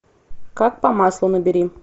как по маслу набери